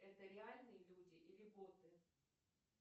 это реальные люди или боты